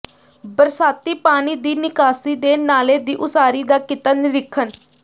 ਬਰਸਾਤੀ ਪਾਣੀ ਦੀ ਨਿਕਾਸੀ ਦੇ ਨਾਲੇ ਦੀ ਉਸਾਰੀ ਦਾ ਕੀਤਾ ਨਿਰੀਖਣ